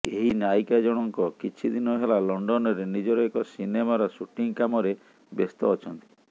ଏହି ନାୟିକା ଜଣଙ୍କ କିଛି ଦିନ ହେଲା ଲଣ୍ଡନରେ ନିଜର ଏକ ସିନେମାର ସୁଟିଂ କାମରେ ବ୍ୟସ୍ତ ଅଛନ୍ତି